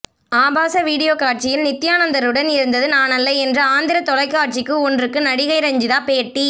ஆபாச வீடியோ காட்சியில் நித்தியானந்தருடன் இருந்தது நானல்ல என்று ஆந்திர தொலைக்காட்சிக்கு ஒன்றுக்கு நடிகை ரஞ்சிதா பேட்டி